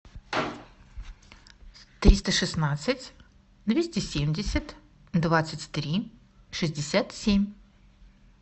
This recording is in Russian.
триста шестнадцать двести семьдесят двадцать три шестьдесят семь